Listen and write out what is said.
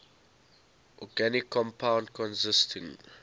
organic compound consisting